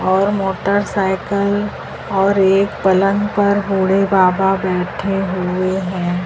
और मोटरसायकल और एक पलंग पर बुढ़े बाबा बैठे हुए हैं।